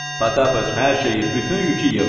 Potapıç, hər şeyi, bütün yükü yığ.